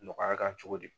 Nɔgɔya kan cogo di